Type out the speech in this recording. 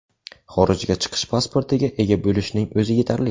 Xorijga chiqish pasportiga ega bo‘lishning o‘zi yetarli.